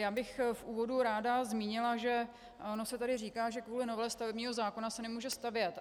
Já bych v úvodu ráda zmínila, že ono se tady říká, že kvůli novele stavebního zákona se nemůže stavět.